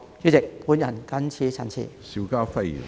主席，我謹此陳辭。